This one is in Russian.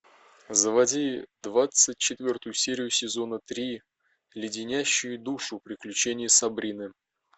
заводи двадцать четвертую серию сезона три леденящие душу приключения сабрины